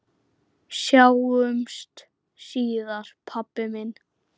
Sjáumst síðar, pabbi minn.